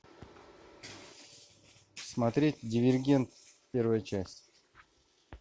смотреть дивергент первая часть